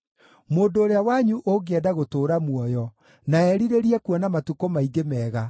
Mũndũ ũrĩa wanyu ũngĩenda gũtũũra muoyo, na erirĩrie kuona matukũ maingĩ mega,